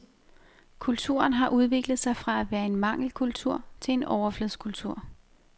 Kulturen har udviklet sig fra at være en mangelkultur til en overflodskultur.